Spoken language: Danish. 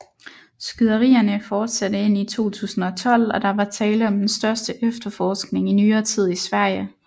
Skyderierne fortsatte ind i 2012 og der var tale om den største efterforskning i nyere tid i Sverige